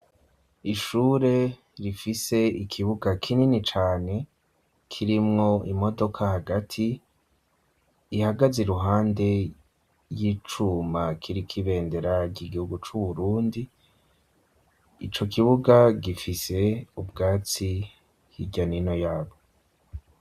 Ishure rifise ikibuga kinini cane kirimwo imodoka hagati ihagaze iruhande y'icuma kiriko ibendera ry'igihugu c'u Burundi, ico kibuga gifise ubwatsi hirya n'ino yabwo.